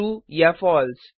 ट्रूया false